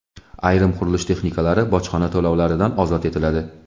Ayrim qurilish texnikalari bojxona to‘lovlaridan ozod etiladi.